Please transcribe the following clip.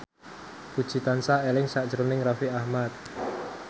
Puji tansah eling sakjroning Raffi Ahmad